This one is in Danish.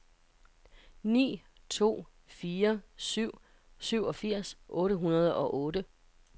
ni to fire syv syvogfirs otte hundrede og otte